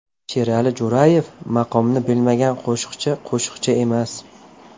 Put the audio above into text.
Sherali Jo‘rayev: Maqomni bilmagan qo‘shiqchi qo‘shiqchi emas!